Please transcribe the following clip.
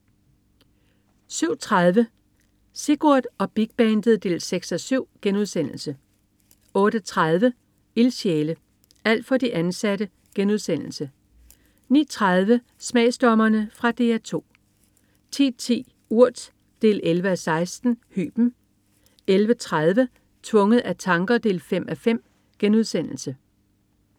07.30 Sigurd og Big Bandet 6:7* 08.30 Ildsjæle. Alt for de ansatte* 09.30 Smagsdommerne. Fra DR 2 10.10 Urt 11:16. Hyben 11.30 Tvunget af tanker 5:5*